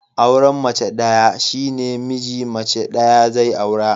Auran mace ɗaya shine miji mace ɗaya zai aura